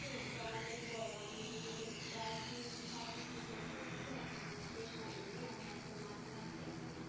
হ্যাঁ এটা অনেক বড় আমি বিগত প্রায় তিন সাড়ে তিন মাস ধরে পড়তেছি এখনো আমার শেষ হয় নাই আমি এখনো মাঝা মাঝিতে আছি।